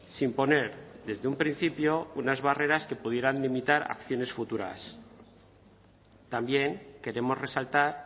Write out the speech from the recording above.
sin poner desde un principio unas barreras que pudieran limitar acciones futuras también queremos resaltar